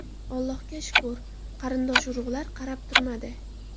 Allohga shukr, qarindosh-urug‘lar qarab turmadi.